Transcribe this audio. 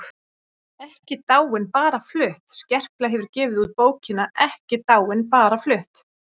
EKKI DÁIN BARA FLUTT Skerpla hefur gefið út bókina Ekki dáin- bara flutt.